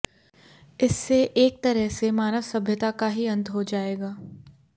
इससे एक तरह से मानव सभ्यता का ही अंत हो जाएगा